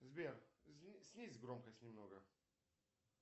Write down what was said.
сбер снизь громкость немного